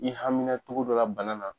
N'i hamina cogo dɔ la bana na